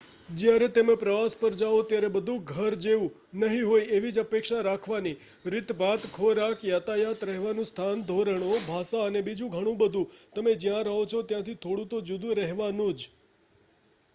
"જયારે તમે પ્રવાસ પર જાઓ ત્યારે બધું ''ઘર જેવું" નહિ હોય એવી જ અપેક્ષા રાખવાની. રીતભાત ખોરાક યાતાયાત રહેવાનું સ્થાન ધોરણો ભાષા અને બીજું ઘણું બધું તમે જ્યાં રહો છો ત્યાંથી થોડું તો જુદું રેહવાનુ જ.